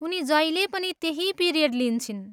उनी जहिले पनि त्यही पिरियड लिन्छिन्।